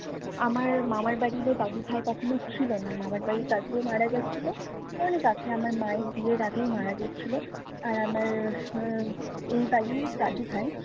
আমার মামার বাড়িরও দাদু ভাই কখনো ছিল না, মামার বাড়ি দাদিও মারা গেছিলো, অনেক আগে আমার মায়ের বিয়ের আগেই মারা গেছিলো। আর আমার উম এই বাড়ির দাদি ভাই